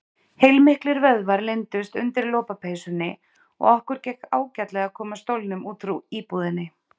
Heilmiklir vöðvar leyndust undir lopapeysunni og okkur gekk ágætlega að koma stólnum út úr íbúðinni.